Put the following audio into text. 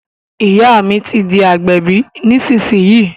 Ìyá mi ti di agbẹ̀bí nísìsiyìí